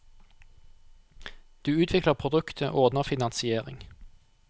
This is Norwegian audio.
Du utvikler produktet, og ordner finansiering.